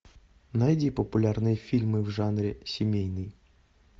найди популярные фильмы в жанре семейный